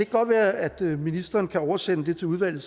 godt være at ministeren kan oversende det til udvalget